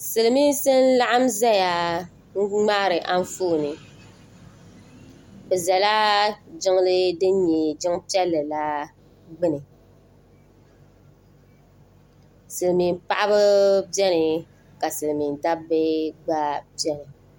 Silimiinsi n-laɣim zaya m-ŋmaari anfooni bɛ zala jiŋli din nyɛ jiŋ'piɛlli la gbuni Silimiin'paɣiba beni ka silimiin'dabba gba beni.